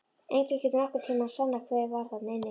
Enginn getur nokkurn tíma sannað hver var þarna inni!